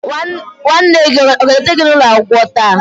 nwanne gi aga eleta gi n'ulo akwukwo taa?